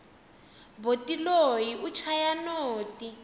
boti loyi u chaya noti